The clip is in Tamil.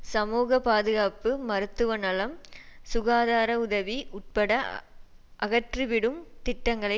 சமூக பாதுகாப்பு மருத்துவ நலம் சுகாதார உதவி உட்பட அகற்றி விடும் திட்டங்களை